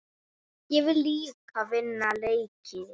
Ég vil líka vinna leiki.